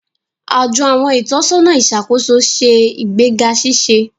Ajo àwọn itọsọna iṣakoso ṣe igbega ṣiṣe.